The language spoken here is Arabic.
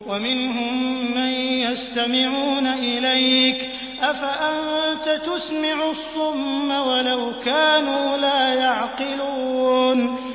وَمِنْهُم مَّن يَسْتَمِعُونَ إِلَيْكَ ۚ أَفَأَنتَ تُسْمِعُ الصُّمَّ وَلَوْ كَانُوا لَا يَعْقِلُونَ